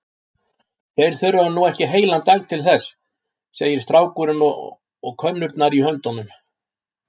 Þeir þurfa nú ekki heilan dag til þess, segir strákurinn og könnurnar í höndum